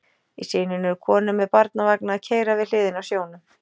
Í sinunni eru konur með barnavagna að keyra við hliðina á sjónum.